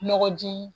Nɔgɔ ji